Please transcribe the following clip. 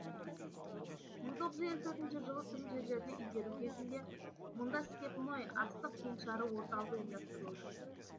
мың тоғыз жүз елу төртінші жылы тың жерлерді игеру кезінде мұнда степной астық кеңшары орталық ұйымдастырылды